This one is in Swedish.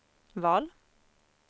val